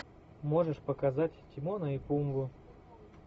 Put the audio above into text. можешь показать тимона и пумбу